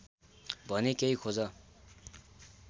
भने केही खोज